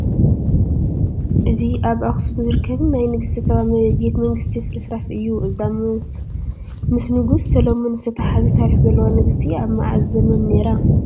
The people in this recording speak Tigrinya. እዚ ኣብ ኣኽሱም ዝርከብ ናይ ንግስተ ሳባ ቤተ መንግስቲ ፍርስራስ እዩ፡፡ እዛ ምስ ንጉስ ሰሎሞን ዝተተሓሓዘ ታሪክ ዘለዋ ንግስቲ ኣብ መዓዝ ዘመን ነይራ?